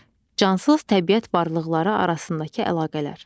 Cansız təbiət varlıqları arasındakı əlaqələr.